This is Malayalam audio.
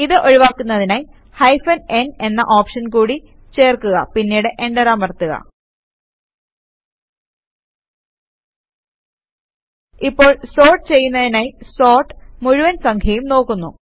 ഇത് ഒഴിവാക്കുന്നതിനായി ഹൈഫൻ n എന്ന ഓപ്ഷൻ കൂട്ടി ചേർക്കുക പിന്നീട് എന്റർ അമർത്തുക ഇപ്പോൾ സോർട്ട് ചെയ്യുന്നതിനായി സോർട്ട് മുഴുവൻ സംഖ്യയും നോക്കുന്നു